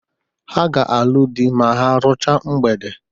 Ha ga-alụ dị ma ha ruchaa mgbede.